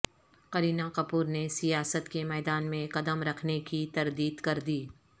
کرینہ کپور نے سیاست کے میدان میں قدم رکھنے کی تردید کر دی